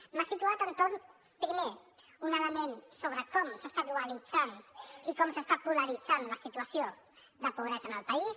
m’ha situat a l’entorn primer d’un element sobre com s’està dualitzant i com s’està polaritzant la situació de pobresa en el país